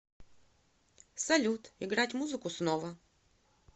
салют играть музыку снова